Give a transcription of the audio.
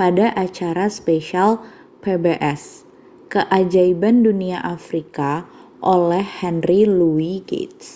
pada acara spesial pbs keajaiban dunia afrika oleh henry louis gates